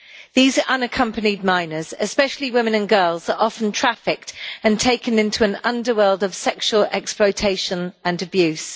These unaccompanied minors, especially women and girls, are often trafficked and taken into an underworld of sexual exploitation and abuse.